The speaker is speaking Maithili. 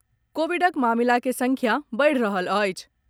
कोविडक मामिला के संख्या बढ़ि रहल अछि।